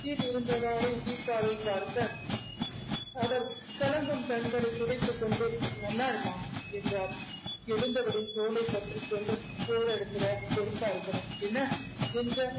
கீழ் இருந்தவாறே தீபாவை பார்க்க அவர் கலங்கும் கண்களைத் துடைத்துக் கொண்டு நல்லா இருமா என்றார் எழுந்தவளின் தோலைப் பற்றிக் கொண்டு போற இடத்துல பொறுப்பா இருக்கணும் என்ன என்க